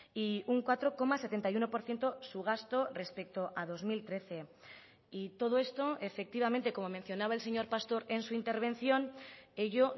y un cuatro coma setenta y uno por ciento su gasto respecto a dos mil trece y todo esto efectivamente como mencionaba el señor pastor en su intervención ello